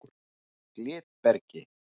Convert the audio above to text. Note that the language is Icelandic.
Glitbergi